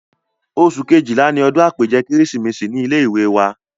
oṣù Kejìlá ni odún àpèjẹ kérésìmesì ní ilé ìwé wa